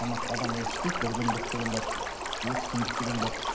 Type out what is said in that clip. тамақ адам өзі ішпейді бір күндік деген бар екі үш күндік деген бар